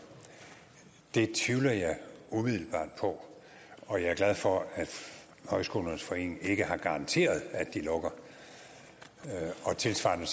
tvivler jeg umiddelbart på og jeg er glad for at højskolernes forening i danmark ikke har garanteret at de lukker og tilsvarende